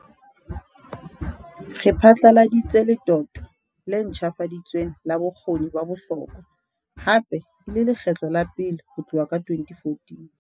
Re phatlaladitse letoto le ntjhafaditsweng la Bokgoni ba Bohlokwa, hape e le lekgetlo la pele ho tloha ka 2014.